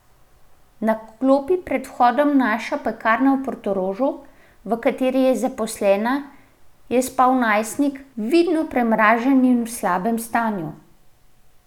Na klopi pred vhodom Naše pekarne v Portorožu, v kateri je zaposlena, je spal najstnik, vidno premražen in v slabem stanju.